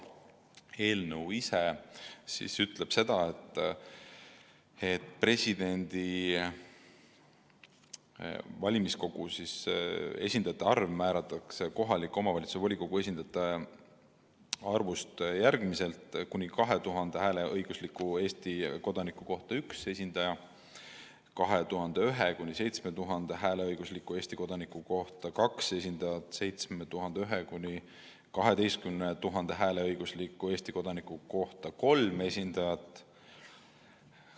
Eelnõu ütleb seda, et valimiskogusse kuuluvate kohaliku omavalitsuse volikogu esindajate arv määratakse järgmiselt: kuni 2000 hääleõigusliku Eesti kodaniku kohta üks esindaja, 2001–7000 hääleõigusliku Eesti kodaniku kohta kaks esindajat, 7001 – 12 000 hääleõigusliku Eesti kodaniku kohta kolm esindajat.